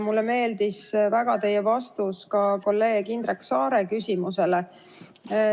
Mulle meeldis väga teie vastus kolleeg Indrek Saare küsimusele.